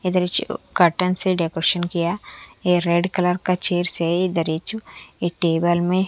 अधरीच cotton से decoration किया ये रेड कलर का है इधरिच एक टेबल में--